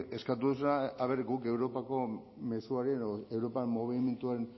eskatu duzuna aber guk europako mezu hori edo europan mugimenduen